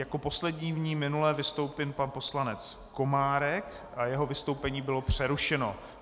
Jako poslední v ní minule vystoupil pan poslanec Komárek a jeho vystoupení bylo přerušeno.